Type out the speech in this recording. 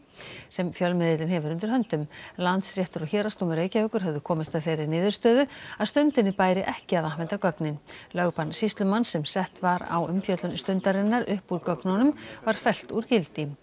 sem fjölmiðillinn hefur undir höndum Landsréttur og Héraðsdómur Reykjavíkur höfðu komist að þeirri niðurstöðu að Stundinni bæri ekki að afhenda gögnin lögbann sýslumanns sem sett var á umfjöllun Stundarinnar upp úr gögnunum var fellt úr gildi